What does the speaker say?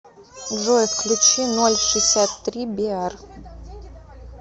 джой включи ноль шисят три биар